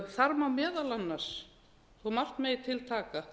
þar má meðal annars þó að margt megi til taka